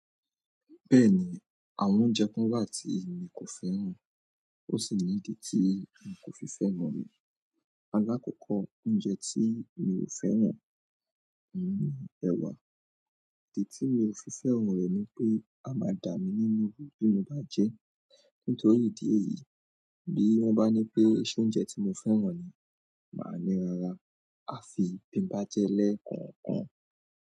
Bẹ́ẹ̀ni, àwọn oúnjẹ kan wà tí mi kò fẹ́ràn, ó sì ní ìdí tí mi kò fi fẹ́ran re. Alákọ̀ọ́kọ́ oúnjẹ tí mi ò fẹ́ràn ni ẹwa, ìdí tí mi ò fi fẹ́ran re ni pé, a máa dà mí nínú bí mo bá jẹ ẹ́. Nítorí ìdí èyií, bí wọ́n bá ní pé, "soúnjẹ tí mo fẹ́ràn ni", màá ní, "ràrá, afi bi n bá jẹ e lẹ́ẹ̀kànkàn".